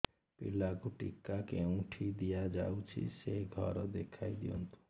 ପିଲାକୁ ଟିକା କେଉଁଠି ଦିଆଯାଉଛି ସେ ଘର ଦେଖାଇ ଦିଅନ୍ତୁ